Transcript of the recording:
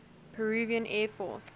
peruvian air force